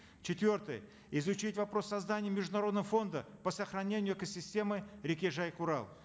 четвертое изучить вопрос создания международного фонда по сохранению экосистемы реки жайык урал